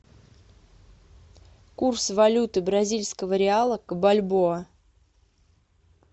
курс валюты бразильского реала к бальбоа